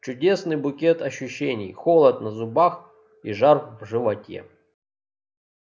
чудесный букет ощущений холод на зубах и жар в животе